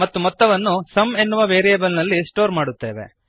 ಮತ್ತು ಮೊತ್ತವನ್ನು ಸುಮ್ ಎನ್ನುವ ವೇರಿಯಬಲ್ ನಲ್ಲಿ ಸ್ಟೋರ್ ಮಾಡುತ್ತೇವೆ